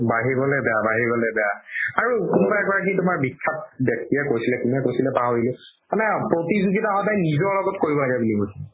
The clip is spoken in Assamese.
বাঢ়ি গ'লে বেয়া, বাঢ়ি গ'লে বেয়া আৰু কোনোবা এগৰাকি বিখ্যাত ব্যাক্তিয়ে কৈছিলে কোনে কৈছিলে পাহৰিলো সদায় প্ৰতিযোগিতা নিজৰ লগত কৰিব লাগে বুলি কৈছে